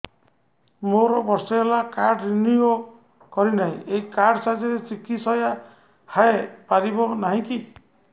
ମୋର ବର୍ଷେ ହେଲା କାର୍ଡ ରିନିଓ କରିନାହିଁ ଏହି କାର୍ଡ ସାହାଯ୍ୟରେ ଚିକିସୟା ହୈ ପାରିବନାହିଁ କି